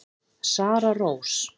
Sara Rós.